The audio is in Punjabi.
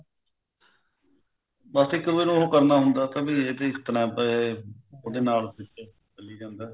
ਬਸ ਇੱਕ ਉਹ ਕਰਨਾ ਹੁੰਦਾ ਵੀ ਇਸ ਤਰ੍ਹਾਂ ਉਹੇ ਨਾਲ ਮਿਲ ਕੇ ਚੱਲੀ ਜਾਂਦਾ